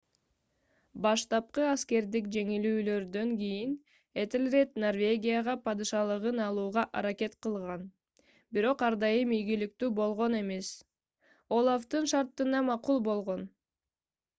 баштапкы аскердик жеңилүүлөрдөн кийин этелред норвегияга падышалыгын алууга аракет кылган бирок ар дайым ийгиликтүү болгон эмес олафтын шарттарына макул болгон